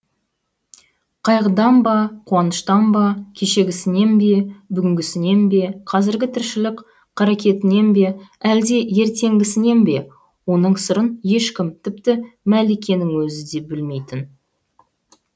қайғыдан ба қуаныштан ба кешегісінен бе бүгінгісінен бе қазіргі тіршілік қаракетінен бе әлде ертеңгісінен бе оның сырын ешкім тіпті мәликенің өзі де білмейтін